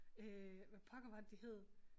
Øh hvad pokker var det de hed